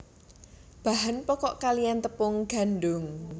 Bahan pokok kaliyan tepung gandum